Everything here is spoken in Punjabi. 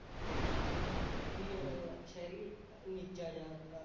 ਹੂੰ ਬਈ ਯਾਰ ਸ਼ਹਿਰੀ ਅਹ ਨੀਚਾ ਜਿਹਾ